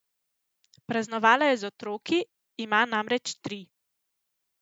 Praznovala je z otroki, ima namreč tri.